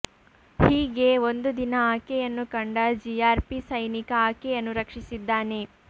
ಹೀಗೆ ಒಂದು ದಿನ ಆಕೆಯನ್ನು ಕಂಡ ಜಿಆರ್ಪಿ ಸೈನಿಕ ಆಕೆಯನ್ನು ರಕ್ಷಿಸಿದ್ದಾನೆ